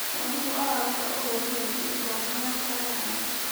Mwarimũ araruta ũtheri wĩgiĩ ithomo rĩa cayanci.